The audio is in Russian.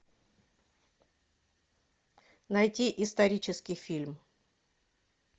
найти исторический фильм